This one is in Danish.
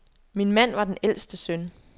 Min mand var den ældste søn.